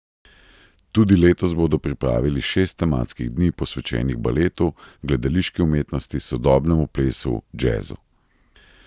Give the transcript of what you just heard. Tudi letos bodo pripravili šest tematskih dni, posvečenih baletu, gledališki umetnosti, sodobnemu plesu, džezu.